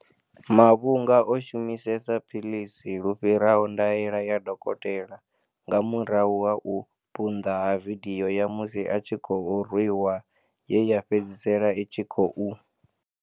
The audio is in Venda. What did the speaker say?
Mavhunga o shumisesa philisi lu fhiraho ndaela ya dokotela nga murahu ha u punḓa ha vidio ya musi a tshi khou rwiwa ye ya fhedzisela i tshi khou